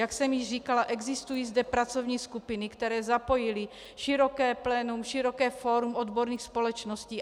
Jak jsem již říkala, existují zde pracovní skupiny, které zapojily široké plénum, široké fórum odborných společností.